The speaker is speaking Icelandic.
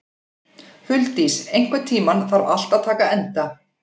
Huldís, einhvern tímann þarf allt að taka enda.